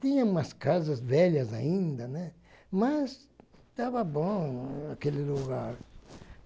Tinha umas casas velhas ainda, né, mas estava bom aquele lugar.